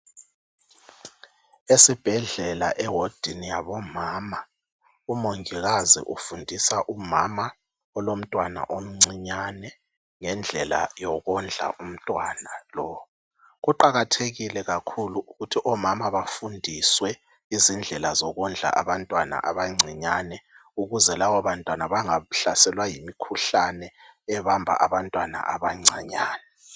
Esibhedlela ewodini yabomama, umongikazi ufundisa umama olomntwana omncinyane ngendlela yokondla umntwana lo. Kuqakathekile kakhulu ukuthi omama bafundiswe izindlela zokondla abantwana abancinyane ukuze lababantwana bengahlaselwa yimikhuhlane ebamba abantwana abancinyane.